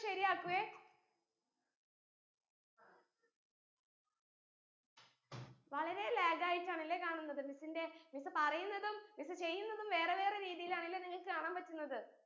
ശരിയാക്കു എ വളരെ lag ആയിട്ടാണല്ലേ കാണുന്നത് miss ന്റെ miss പറയിന്നതും miss ചെയ്യുന്നതും വേറെ വേറെ രീതിയിലാണല്ലേ നിങ്ങൾക് കാണാൻ പറ്റുന്നത്